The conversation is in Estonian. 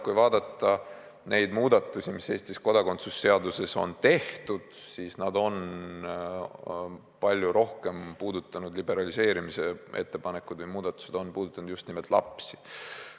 Kui vaadata muudatusi, mis Eestis kodakondsuse seaduses on tehtud, siis need liberaliseerimise ettepanekud on puudutanud just nimelt lapsi.